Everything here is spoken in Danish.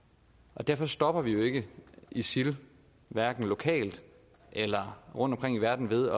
og derfor stopper vi jo ikke isil hverken lokalt eller rundtomkring i verden ved